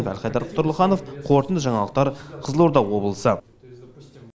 әлхайдар тұрлыханов қорытынды жаңалықтар қызылорда облысы